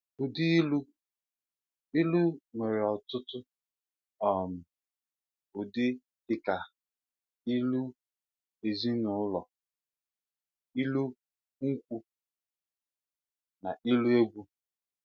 Ụdị ịlụ: ilu nwere ọtụtụ um ụdị, dịka ilu ezinụlọ, ịlụ nkwu, na ilu egwu.